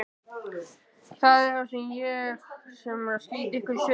Það er ég sem er að slíta ykkur í sundur.